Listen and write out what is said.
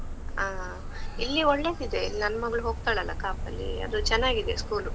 ಹ ಹ ಇಲ್ಲಿ ಒಳ್ಳೆದಿದೆ, ನನ್ನ್ ಮಗ್ಳು ಹೋಗ್ತಳಲ್ಲ ಕಾಪಲ್ಲಿ, ಅದು ಚೆನ್ನಾಗಿದೆ school.